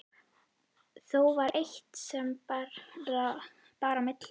Þó var eitt sem bar á milli.